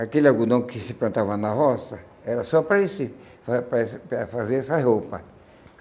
Aquele algodão que se plantava na roça era só para esse para para esse fazer essa roupa.